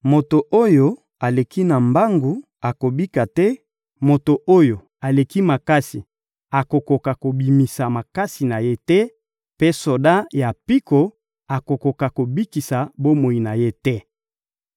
Moto oyo aleki na mbangu akobika te, moto oyo aleki makasi akokoka kobimisa makasi na ye te, mpe soda ya mpiko akokoka kobikisa bomoi na ye te.